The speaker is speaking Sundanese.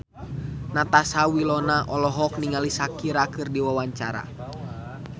Natasha Wilona olohok ningali Shakira keur diwawancara